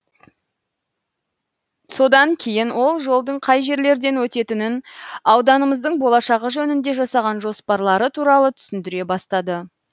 содан кейін ол жолдың қай жерлерден өтетінін ауданымыздың болашағы жөнінде жасаған жоспарлары туралы түсіндіре бастады